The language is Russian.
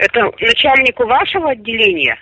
это начальник у вашего отделения